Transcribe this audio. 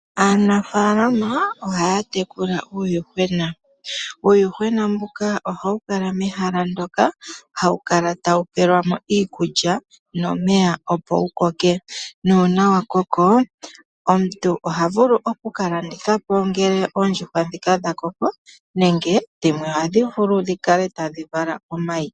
Aanafaalama ohaya tekula uuyuhwena. Uuyuhwena mbuka ohawu kala mehala muka, hawu kala tawu pelwa mo iikulya nomeya opo wu koke. Uuna wa koko omuntu iha vulu oku ka landitha dho dhimwe ohadhi kala tadhi vala omayi.